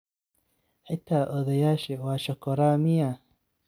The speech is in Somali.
Xita odhoyashe wa shokoraa miya?